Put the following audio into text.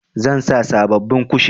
Zan sa sabobbin kushin.